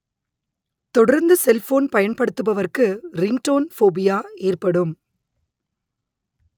தொடர்ந்து செல்போன் பயன்படுத்துபவர்க்கு ringtone phobia ஏற்படும்